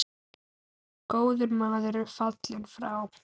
Góður maður er fallinn frá.